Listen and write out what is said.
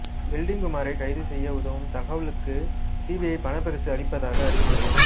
welding குமாரை கைது செய்ய உதவும் தகவலுக்கு சிபிஐ பணப்பரிசு வளிப்பதாக அறிவத்தது